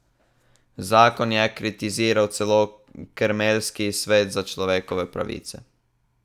Zakon je kritiziral celo kremeljski svet za človekove pravice.